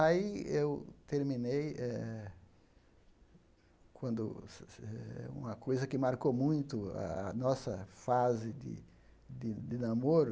Aí eu terminei eh... Quando eh uma coisa que marcou muito a nossa fase de de namoro